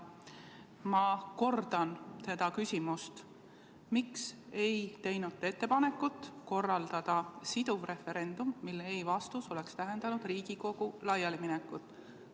Ma kordan seda küsimust: miks ei teinud te ettepanekut korraldada siduv referendum, mille ei‑vastus oleks tähendanud Riigikogu laialiminekut?